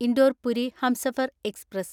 Indore Puri Humsafar express